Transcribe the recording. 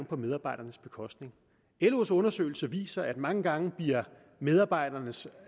på medarbejdernes bekostning los undersøgelse viser at mange gange bliver medarbejdernes